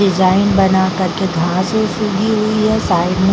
design बना कर --